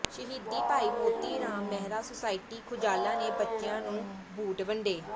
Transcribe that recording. ਸ਼ਹੀਦ ਭਾਈ ਮੋਤੀ ਰਾਮ ਮਹਿਰਾ ਸੁਸਾਇਟੀ ਖੁਜਾਲਾ ਨੇ ਬੱਚਿਆਂ ਨੂੰ ਬੁੂਟ ਵੰਡੇ